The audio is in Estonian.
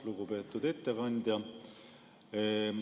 Lugupeetud ettekandja!